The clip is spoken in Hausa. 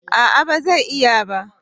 A'a ba zai iya ba